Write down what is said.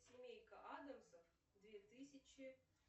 семейка адамсов две тысячи